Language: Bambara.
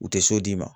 U tɛ so d'i ma